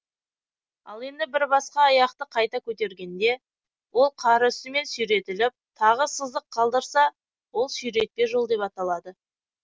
ал енді бір басқа аяқты қайта көтергенде ол қар үстімен сүйретіліп тағы сызық қалдырса ол сүйретпе жол деп аталады